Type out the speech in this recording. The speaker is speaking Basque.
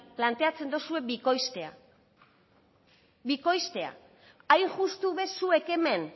planteatzen duzue bikoiztea hain justu zuek hemen